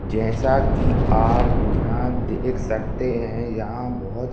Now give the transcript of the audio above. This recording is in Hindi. जैसा कि आप यहाँ देख सकते हैं यहाँ बहुत --